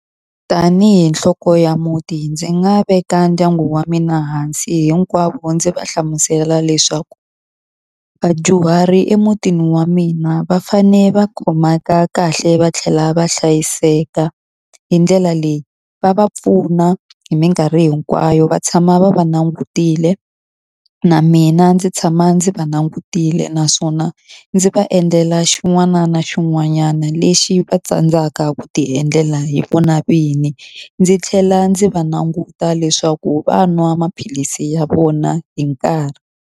Tanihi nhloko ya muti ndzi nga veka ndyangu wa mina hansi hinkwavo ndzi va hlamusela leswaku, vadyuhari emutini wa mina va fanele va khomeka kahle va tlhela va hlayiseka. Hi ndlela leyi va va pfuna hi minkarhi hinkwayo va tshama va va langutile, na mina ndzi tshama ndzi va langutile. Naswona ndzi va endlela xin'wana na xin'wanyana lexi va tsandzaka ku ti endlela hi vona vinyi. Ndzi tlhela ndzi va languta leswaku va nwa maphilisi ya vona hi nkarhi.